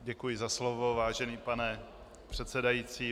Děkuji za slovo, vážený pane předsedající.